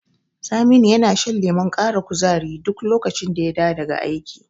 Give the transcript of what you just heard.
Saminu yana shan lemon ƙara kuzari duk lokacin da ya dawo daga aiki.